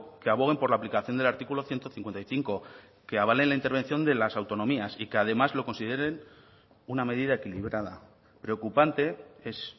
que aboguen por la aplicación del artículo ciento cincuenta y cinco que avalen la intervención de las autonomías y que además lo consideren una medida equilibrada preocupante es